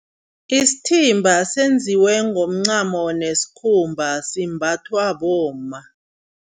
Isithimba senziwe ngomncamo nesikhumba simbathwa bomma.